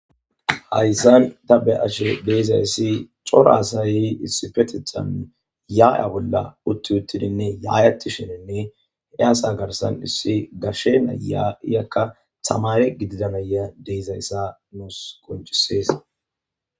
hayssan ta be'ashe de'izayssi cora asay issipetethan ya'a bolla utti uttidinne ya'eshininne hesa garsan issi gashe na'iyakka tamare gididanaysa nuus qoncises.